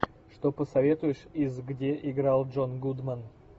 что посоветуешь из где играл джон гудман